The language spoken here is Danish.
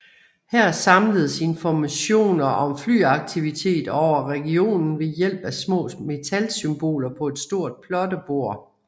Her samledes informationer om flyaktivitet over regionen ved hjælp af små metalsymboler på et stort plottebord